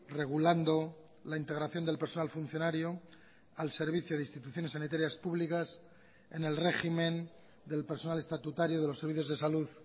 regulando la integración del personal funcionario al servicio de instituciones sanitarias públicas en el régimen del personal estatutario de los servicios de salud